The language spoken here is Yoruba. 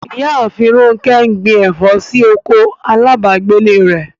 Ìyààfin Rọ̀nkẹ ń gbìn ẹ̀fọ̀ sí oko alábàgẹ̀lẹ̀ rẹ̀.